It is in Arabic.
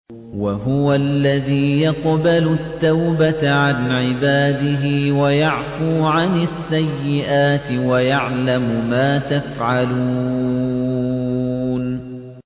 وَهُوَ الَّذِي يَقْبَلُ التَّوْبَةَ عَنْ عِبَادِهِ وَيَعْفُو عَنِ السَّيِّئَاتِ وَيَعْلَمُ مَا تَفْعَلُونَ